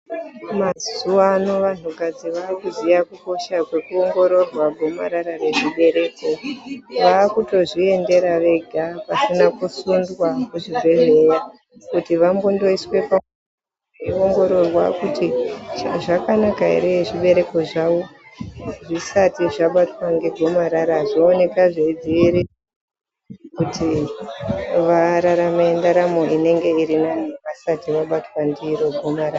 Mazuwa ano vantukadzi vakuziya kukosha kwekuongororwa gomarara rezvibereko, vakutozviendera vega vasina kusundwa kuchibhedhleya kuti vambondoiswa, pamuchini veiongororwa kuti zvakanaka ere zvibereko zvavo zvisati zvabatwa ngegomarara zvooneka zveidzivirirwa kuti vararame ndaramo inenge irinane vasati vabatwa ndiro gomarara.